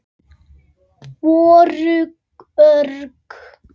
Voru örugg.